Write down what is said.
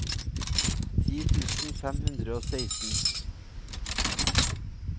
ti tusen fem hundre og seksten